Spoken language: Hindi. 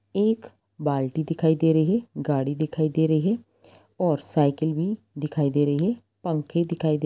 एक बाल्टी दिखाई दे रही है गाड़ी दिखाई दे रही है और साइकिल भी दिखाई दे रही है पंखे दिखाई दे --